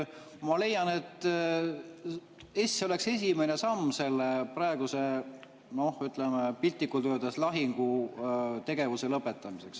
Ma leian, et see oleks esimene samm selle praeguse, piltlikult öeldes, lahingutegevuse lõpetamiseks.